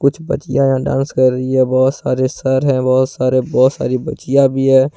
कुछ बच्चियां यहां डांस कर रही है बहुत सारे सर है बहुत सारे बहुत सारी बच्चियां भी है।